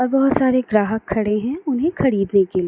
और बहुत सारे ग्राहक खड़े है उन्हें खरीदने के लिए।